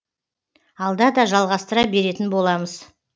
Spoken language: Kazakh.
алда да жалғастыра беретін боламыз